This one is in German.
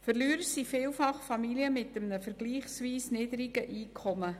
Verlierer sind vielfach Familien mit einem vergleichsweise niedrigen Einkommen.